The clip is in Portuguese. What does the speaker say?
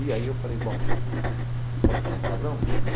E aí eu falei, bom, posso falar um palavrão?